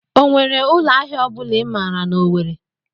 O nwere ụlọ ahịa I maara n'Owere?